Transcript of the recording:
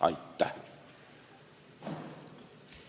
Aitäh!